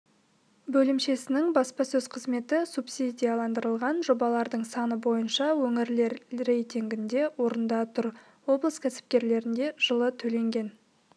бөлімшесінің баспасөз қызметі субсидияландырылған жобалардың саны бойынша өңірлер рейтингінде орында тұр облыс кәсіпкерлеріне жылы төленген